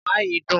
oha yìí dùn.